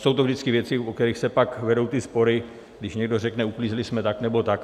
Jsou to vždycky věci, o které se pak vedou ty spory, když někdo řekne, uklízeli jsme tak, nebo tak.